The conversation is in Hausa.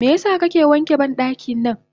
Meyasa kake wanke bandaki nan?